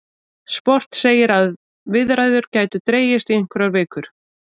Sport segir að viðræður gætu dregist í einhverjar vikur